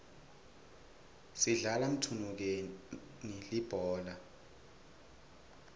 sidlala mthunukeni libhola